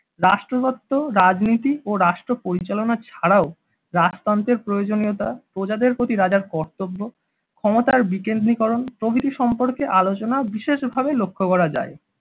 রাষ্ট্রয়ত্ত রাজনীতি ও রাষ্ট্রপরিচালনা ছাড়াও রাজতন্ত্রের প্রয়োজনীয়তা প্রজাদের প্রতি রাজার কর্তব্য ক্ষমতার বিকেন্দ্রীকরণ প্রভৃতি সম্পর্কে আলোচনা বিশেষভাবে লক্ষ্য করা যায়।